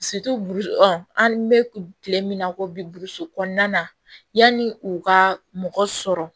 an bɛ kile min na ko bi burusi kɔnɔna na yanni u ka mɔgɔ sɔrɔ